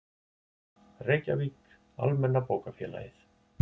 Reykjavík, Almenna bókafélagið.